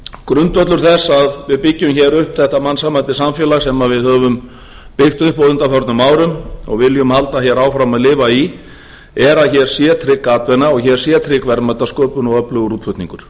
grundvöllur þess að við byggjum hér upp þetta mannsæmandi samfélag sem við höfum byggt upp á undanförnum árum og við viljum halda hér áfram að lifa í er að hér sé trygg atvinna og að hér sé trygg verðmætasköpun og öflugur útflutningur